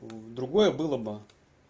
уу другое было бы